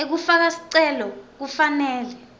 ekufaka sicelo kufanele